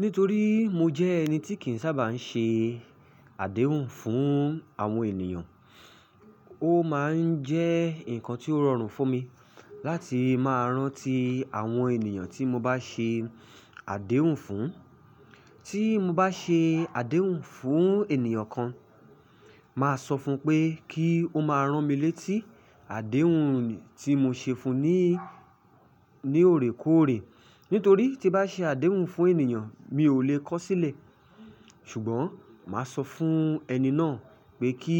Nítorí mo jẹ́ ẹni tí kì ń sábà ń ṣe àdéhùn fún àwọn ènìyàn, ó máa ń jẹ́ nǹkan tí ó rọrùn fún mi láti máa rántí àwọn ènìyàn tí mo bá ṣe àdéhùn fún. Tí mo bá ṣe àdéhùn fún ènìyàn kan, maa sọ fún pé kí ó máa rán mi létí àdéhùn nì tí mo ṣe fún un ní, ní òrèkóòrè. Nítorí tí n bá ṣe àdéhùn fún ènìyàn mi ò le kọ̀ ó sílẹ̀. Ṣùgbọ́n màá sọ fún ẹni náà pé kí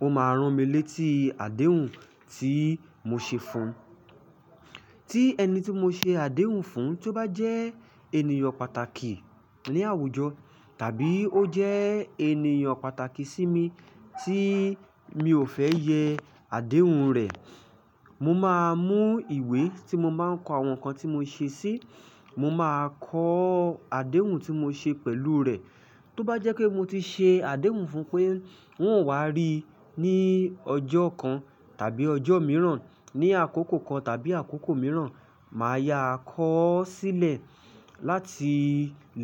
ó máa rán mi létí àdéhùn tí mo ṣe fún un. Tí ẹni tí mo ṣe àdéhùn fún, tí ó bá jẹ́ ènìyàn pàtàkì ní àwùjọ tàbí ó jẹ́ ènìyàn pàtàkì sí mi tí mi ò fẹ́ yẹ àdéhùn rẹ̀, mo máa mú ìwé tí mo máa ń kọ àwọn nǹkan tí mo ṣe sí, mo máa kọ àdéhùn tí mo ṣe pẹ̀lú rẹ̀. Tó bá jẹ́ pé mo ti ṣe àdéhùn fún pé n ó wá rí ní ọjọ́ kan tàbí ọjọ́ mìíràn, ní àkókò kan tàbí àkókò mìíràn, màá yá kọ́ sílẹ̀ láti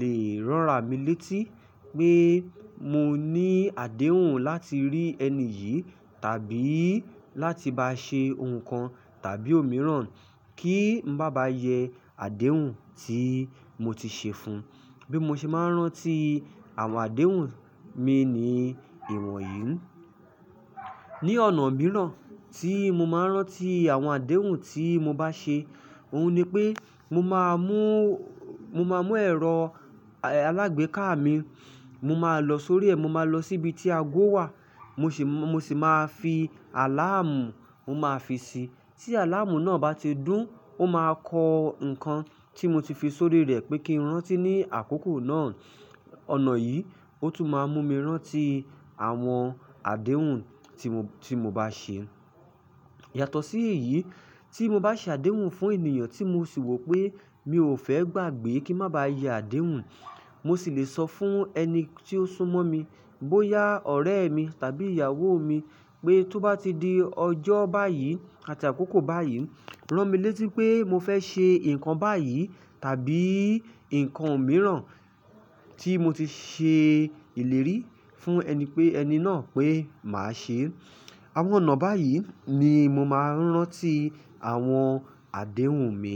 lè ránra mi létí pé mo ní àdéhùn láti rí ẹni yìí tàbí láti bá a ṣe ohun kan tàbí òmíràn kí n má ba yẹ àdéhùn tí mo ti ṣe fun. Bí mo ṣe máa ń rántí àwọn àdéhùn mi ni ìwọ̀nyí. Ni ọ̀nà mìíràn tí mo máa ń rántí àwọn àdéhùn tí mo bá ṣe, òun ni pé mo máa mú, mo máa mú ẹ̀rọ alágbèéká mi, mo máa lọ sórí ẹ̀, mo máa lọ síbi tí ago wà, mo sì máa fi àláàmù, mo máa fi sí i. Tí àláàmù náà bá ti dún, ó máa kọ ǹkan tí mo ti fi sórí rẹ̀ pé kí n rántí ní àkókò náà. Ọ̀nà yìí, ó tún máa ń mú mi rántí àwọn àdéhùn tí mo bá ṣe. Yàtọ̀ sí èyí, tí mo bá ṣe àdéhùn fún ènìyàn tí mo sì wò pé mi ò fẹ́ gbàgbé kí n má bá yẹ àdéhùn, mo sì lè sọ fún ẹni tí ó súmọ́ mi, bóyá ọ̀rẹ́ mi tàbí ìyàwó mi pé tó bá ti di ọjọ́ báyìí àti àkókò báyìí, rán mi létí pé mo fẹ́ ṣe nǹkan báyìí tàbí nǹkan mìíràn tí mo ti ṣe ìlérí fún ẹni pé, ẹni náà pé màá ṣe é. Àwọn ọ̀nà báyìí ni mo máa ń rántí àwọn àdéhùn mi.